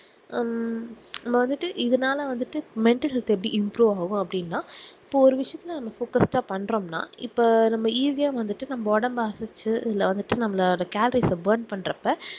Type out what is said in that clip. ஹம் நம்ம வந்துட்டு இதுனால வந்துட்டு mental health எப்டி improve ஆகும் அப்டினா இப்போ ஒரு விசயத்துல நம்ம focus ஆஹ் பண்றோம்னா இப்ப நம்ம easy வந்துட்டு நம்ம ஒடம்ப அசச்சி இல்ல வந்துட்டு நம்மளோட calories அஹ் born பண்றப்ப